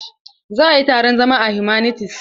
Za a yi taron zama a humanities.